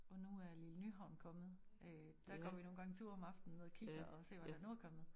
Og nu er lille Nyhavn kommet øh der går vi nogen gange tur om aftenen og ned kigger og ser hvad der nu er kommet